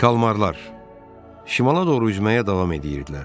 Kalmarlar şimala doğru üzməyə davam edirdilər.